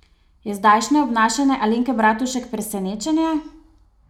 Je zdajšnje obnašanje Alenke Bratušek presenečenje?